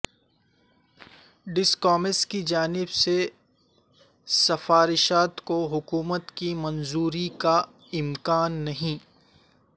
discoms کی جانب سے سفارشات کو حکومت کی منظوری کا امکان نہیں